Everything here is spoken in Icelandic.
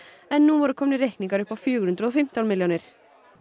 en nú voru komnir reikningar upp á fjögur hundruð og fimmtán milljónir